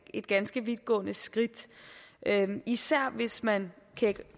et ganske vidtgående skridt især hvis man